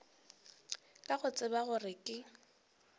ka go tseba gore ke